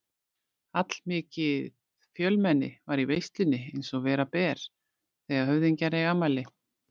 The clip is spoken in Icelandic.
Allmikið fjölmenni var í veislunni eins og vera ber þegar höfðingjar eiga afmæli.